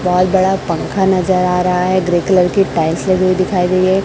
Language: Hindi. बहोत बड़ा पंखा नजर आ रहा है ग्रे कलर की टाइल्स लगी दिखाई दे रही है।